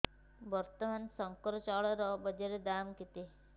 ବର୍ତ୍ତମାନ ଶଙ୍କର ଚାଉଳର ବଜାର ଦାମ୍ କେତେ